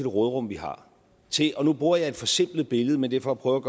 råderum vi har til og nu bruger jeg et forsimplet billede men det er for at prøve